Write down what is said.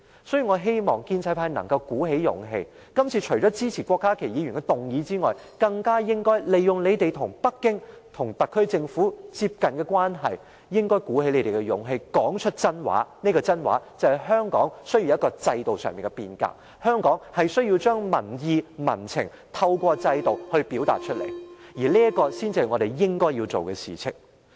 所以，我希望建制派能鼓起勇氣，除了支持郭家麒議員的議案外，更應利用你們與北京、特區政府比較接近的關係，鼓起勇氣，說出實話：香港需要制度上的變革，香港需要透過制度將民意、民情表達出來，這才是我們應該要做的事情。